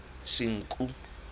senqu